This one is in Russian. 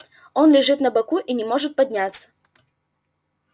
он лежит на боку и не может подняться